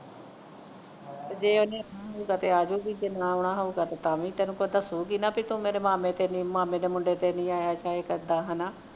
ਜੇ ਉਹ ਨੇ ਮੂੰਡ ਹੋ ਊਗਾ ਤੇ ਆ ਜਾਊਗੀ ਜੇ ਨਾ ਆਉਣਾ ਹੋਊਗਾ ਤਾਂ ਵੀ ਤੇ ਤੈਨੂੰ ਦੱਸੂ ਗੀ ਨਾ ਤੂੰ ਮੇਰੇ ਮਾਮੇ ਤੇ ਵੀ ਮੇਰੇ ਮਾਮੇ ਦੇ ਮੁੰਡੇ ਤੇ ਨਹੀਂ ਆਇਆ ਚਾਹੇ ਕਿੱਦਾਂ ਹੈ ਨਾ